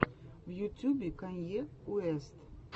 в ютюбе канье уэст